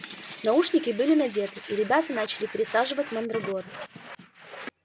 наушники были надеты и ребята начали пересаживать мандрагоры